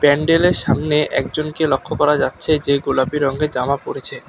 প্যান্ডেলের সামনে একজনকে লক্ষ করা যাচ্ছে যে গোলাপী রঙের জামা পরেছে।